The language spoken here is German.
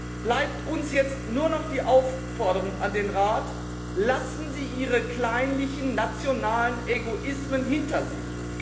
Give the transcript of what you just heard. Da bleibt uns jetzt nur noch die Aufforderung an den Rat Lassen Sie Ihre kleinlichen nationalen Egoismen hinter sich!